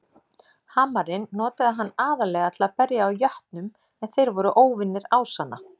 Hamarinn notaði hann aðallega til að berja á jötnum en þeir voru óvinir ásanna.